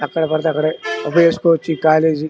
ఎక్కడ పడితే అక్కడే చేసుకోవచ్చు ఈ కాలేజీ --